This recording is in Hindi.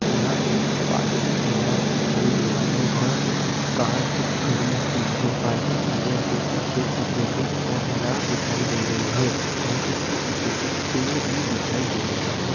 यहां एक पार्किंग एरिया दिखाई दे रहा है यहां पे कुछ कार्स खड़ी हुई है पार्किंग एरिया के पीछे कुछ बिल्डिंग मीनार दिखाई दे रही है और उसके पीछे कुछ पेड़ भी दिखाई दे रहे है।